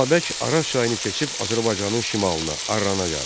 Babək Araz çayını keçib Azərbaycanın şimalına, Arrana gəldi.